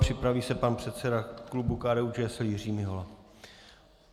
Připraví se pan předseda klubu KDU-ČSL Jiří Mihola.